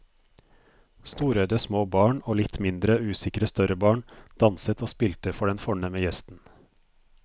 Storøyde små barn og litt mindre usikre større barn danset og spilte for den fornemme gjesten.